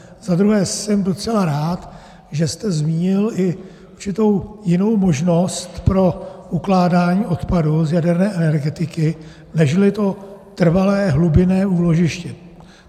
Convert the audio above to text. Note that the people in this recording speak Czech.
Za druhé jsem docela rád, že jste zmínil i určitou jinou možnost pro ukládání odpadu z jaderné energetiky nežli to trvalé hlubinné úložiště.